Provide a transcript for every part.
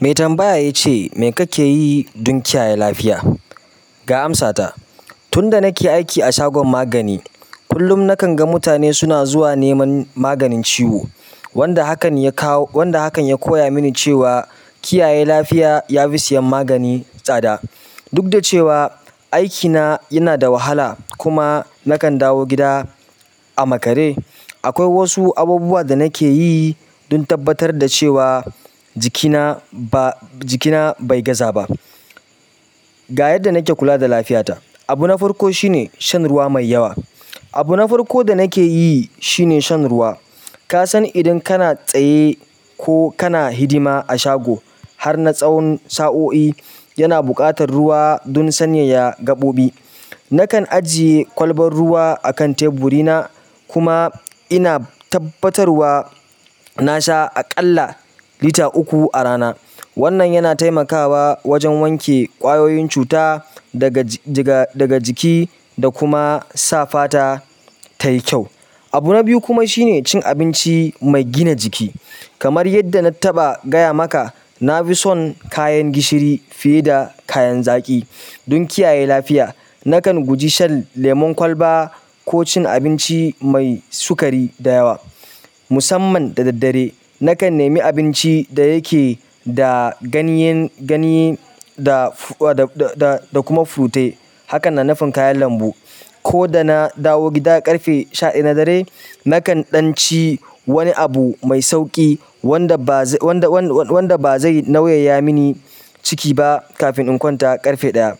Me tambaya ya ce, "Me kake yi don kiyaye lafiya?" Ga amsata, tun da nake aiki a shagon magani, kullum nakan ga mutane suna zuwa neman maganin ciwo. Wanda hakan ya kawo, wanda hakan ya koya mini cewa kiyaye lafiya ya fi siyan magani tsada. Duk da cewa aikina yana da wahala kuma nakan dawo gida a makare, akwai wasu abubuwa da nake yi dun tabbatar da cewa jikina ba, jikina bai gaza ba. Ga yadda nake kula da lafiyata. Abu na farko shine shan ruwa mai yawa. Abu na farko da nake yi shine shan ruwa. Ka san idan kana tsaye ko kana hidima a shago har na tsawo sa'o'i, yana buƙatar ruwa don sanyaya gaɓoɓi. Nakan ajiye kwalban ruwa akan teburina kuma ina tabbatarwa na sha aƙalla lita uku a rana. Wannan yana taimakawa wajen wanke ƙwayoyin cuta daga jiga, daga jiki da kuma sa fata tayi kyau. Abu na biyu kuma shine cin abinci mai gina jiki. Kamar yadda na taɓa gaya maka, na fi son kayan gishiri fiye da kayan zaƙi. Dun kiyaye lafiya, nakan guji shan lemon kwalba ko cin abinci mai sukari da yawa. Musamman da daddare, nakan nemi abinci da yake da ganyen, ganyi da, da, da kuma furutai. Haka na nufin kayan lambu. Ko da na dawo gida ƙarfe sha ɗaya na dare, nakan ɗanci wani abu mai sauƙi wanda ba zai, wanda, wan-wan-wanda ba zai nauyaya mini ciki ba kafin in kwanta ƙarfe ɗaya.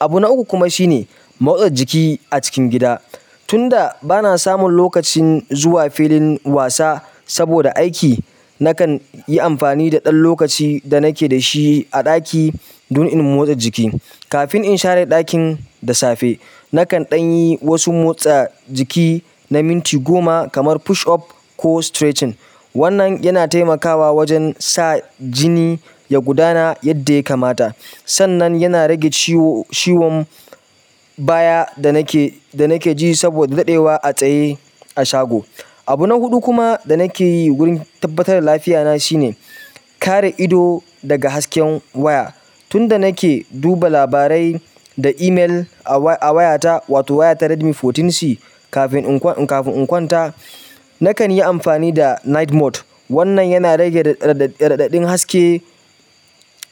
Abu na uku kuma shine motsa jiki a cikin gida. Tun da ba na samun lokacin zuwa filin wasa saboda aiki, nakan yi amfani da ɗan lokacin da nake da shi a ɗaki dun in motsa jiki. Kafin in share ɗakin da safe, nakan ɗan yi wasu motsa jiki na minti goma kamar push up ko stretching. Wannan yana taimakawa wajen sa jini ya gudana yadda ya kamata. Sannan yana rage ciwo, ciwon baya da nake, da nake ji saboda daɗewa a tsaye a shago. Abu na huɗu kuma da nake yi wurin tabbatar da lafiyata shine kare ido daga hasken waya. Tun da nake duba labarai da email a waya, a wayata, wato wayata Redmi sha huɗu C, kafin in kwan, kafin in kwanta, nakan yi amfani da night mode. Wannan yana rage raɗaɗaɗin haske,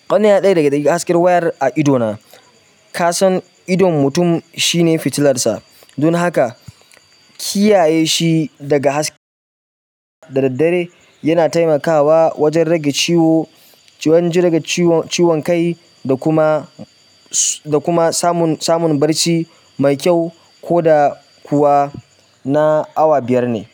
wanan yana rage raɗaɗin hasken wayar a idona. Ka san idon mutum shine fitilarsa. Dun haka, kiyaye shi daga haske da daddare yana taimakawa wajen rage ciwo, wajen rage ciwon kai da kuma, da kuma samun, samun barci mai kyau ko da kuwa na awa biyar ne.